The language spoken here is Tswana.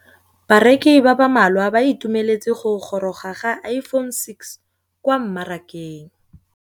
Bareki ba ba malwa ba ituemeletse go gôrôga ga Iphone6 kwa mmarakeng.